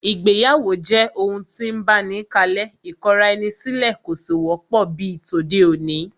Ìgbéyàwó jẹ́ ohun tí ń báni kalẹ́, ìkọra-ẹni-sílẹ̀ kò sì wọ́pọ̀ bíi tòde-òní